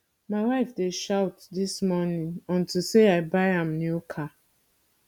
my wife dey shout since morning unto say i buy am new car